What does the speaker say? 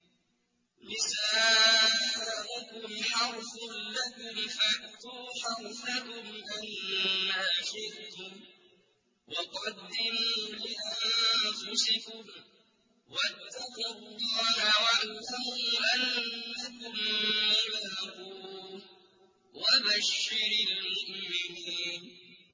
نِسَاؤُكُمْ حَرْثٌ لَّكُمْ فَأْتُوا حَرْثَكُمْ أَنَّىٰ شِئْتُمْ ۖ وَقَدِّمُوا لِأَنفُسِكُمْ ۚ وَاتَّقُوا اللَّهَ وَاعْلَمُوا أَنَّكُم مُّلَاقُوهُ ۗ وَبَشِّرِ الْمُؤْمِنِينَ